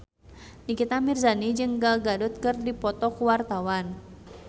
Nikita Mirzani jeung Gal Gadot keur dipoto ku wartawan